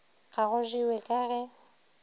ga go jewe ka ge